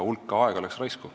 Hulk aega läks raisku.